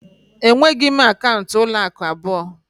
Enweghị m akaụntụ ụlọ akụ abụọ